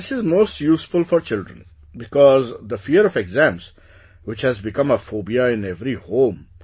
Sir, this is most useful for children, because, the fear of exams which has become a fobia in every home